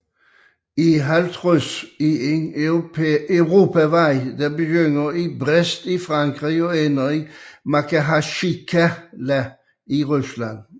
E50 er en europavej der begynder i Brest i Frankrig og ender i Makhatsjkala i Rusland